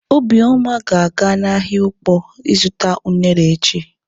Obioma ga-aga n'ahịa Ụkpọ ịzụta unere echi.